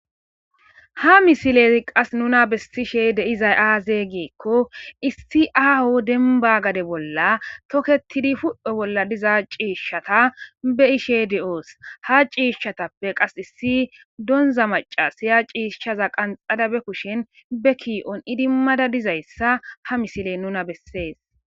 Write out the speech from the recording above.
ha misile qas nuna bessishe deizay aaze giekko issi aao demba gade bolla toketidi fuphe bolla diza ciishshata be ishe de7oos ha ciishshatappe qas issi donza maca siya ciishshaza qanxadabe kushen be kii7on idimmada dizayssa ha misiley nuna bessees